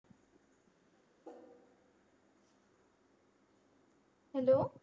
HALLO